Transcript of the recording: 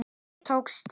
Og mér tókst það.